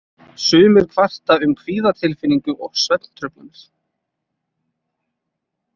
Sumir kvarta um kvíðatilfinningu og svefntruflanir.